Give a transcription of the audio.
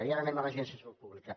i ara anem a l’agència de salut pública